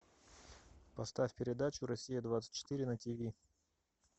поставь передачу россия двадцать четыре на тиви